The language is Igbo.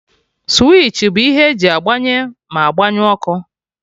Switchi bụ ihe eji agbanye ma agbanyụ ọkụ